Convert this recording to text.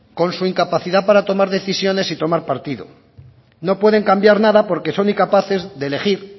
con su incapacidad para tomar decisiones y tomar partido no pueden cambiar nada porque son incapaces de elegir